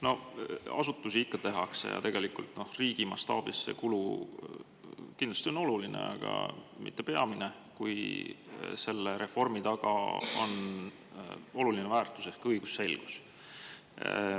No asutusi ikka luuakse ja tegelikult, noh, riigi mastaabis see kulu kindlasti on tähtis, aga mitte peamine tegur, kui reformi on oluline väärtus ehk õigusselgus.